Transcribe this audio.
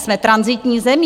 Jsme tranzitní zemí.